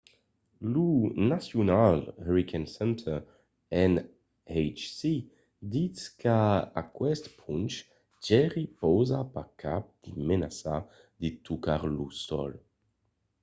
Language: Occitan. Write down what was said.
lo national hurricane center nhc ditz qu'a aqueste ponch jerry pausa pas cap de menaça de tocar lo sòl